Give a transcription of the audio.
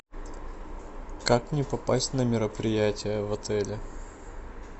как мне попасть на мероприятие в отеле